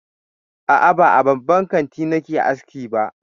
A'a, ba a babban kanti nake aski ba.